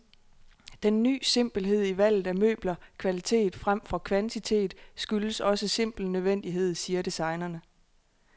Den ny simpelhed i valget af møbler, kvalitet fremfor kvantitet, skyldes også simpel nødvendighed, siger designerne.